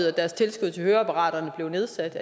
at deres tilskud til høreapparater blev nedsat